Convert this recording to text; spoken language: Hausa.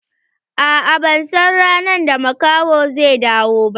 A'a ban san ranar da makahon zai dawo ba.